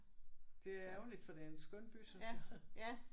Det er ærgerligt for det er en skøn by synes jeg